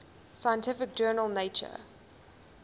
scientific journal nature